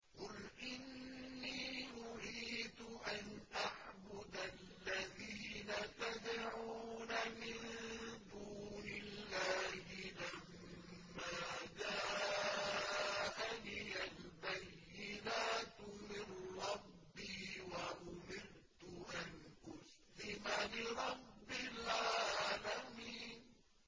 ۞ قُلْ إِنِّي نُهِيتُ أَنْ أَعْبُدَ الَّذِينَ تَدْعُونَ مِن دُونِ اللَّهِ لَمَّا جَاءَنِيَ الْبَيِّنَاتُ مِن رَّبِّي وَأُمِرْتُ أَنْ أُسْلِمَ لِرَبِّ الْعَالَمِينَ